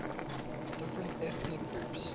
different ethnic groups